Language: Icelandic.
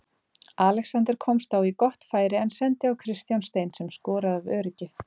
Alexander komst þá í gott færi en sendi á Kristján Stein sem skoraði af öryggi.